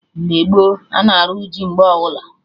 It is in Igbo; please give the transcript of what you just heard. Mgbe gboo, ana arụ ji mgbe ọbụla